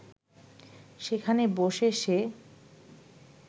সেখানে বসে সে